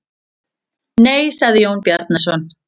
Nei, sagði Jón Bjarnason.